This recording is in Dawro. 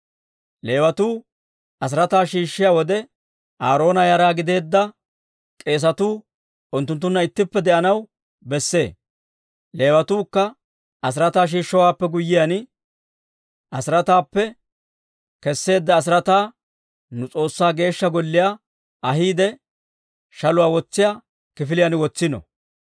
Leewatuu asiraataa shiishshiyaa wode, Aaroona yara gideedda k'eesatuu unttunttunna ittippe de'anaw besse. Leewatuukka asiraataa shiishshowaappe guyyiyaan, asiraataappe kesseedda asiraataa nu S'oossaa Geeshsha Golliyaa ahiide, shaluwaa wotsiyaa kifiliyaan wotsino.